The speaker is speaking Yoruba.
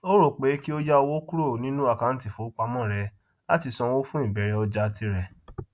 ó rò pé kí ó yá owó kúrò nínú àkáńtì ifowópamọ rẹ láti sàn owó fún ìbẹrẹ ọjà tirẹ